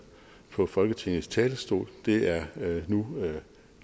fra folketingets talerstol det er nu